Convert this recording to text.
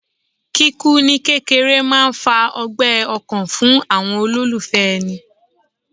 Kíkú ní kékeré máà ń fa ọgbẹ́ ọkàn fún àwọn olólùfẹ́ èni